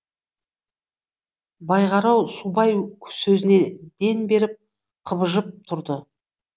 байғарау субай сөзіне ден беріп қыбылжып тұрды